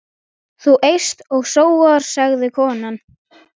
Þú eyst og sóar, sagði konan.